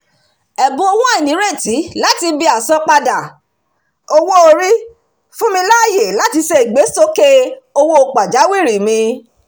ẹ̀bùn owó àìnírètí láti ibi àsanpadà owó-orí fún mi láàyè láti ṣe ìgbésókè owó pàjáwìrì mi